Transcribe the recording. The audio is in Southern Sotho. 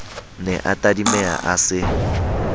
ne a tadimeha a se